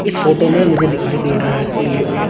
इस फोटो में मुझे दिखाई दे रहा है कि ये एक--